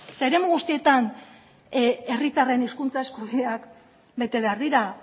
zeren eremu guztietan herritarren hizkuntza eskubideak bete behar dira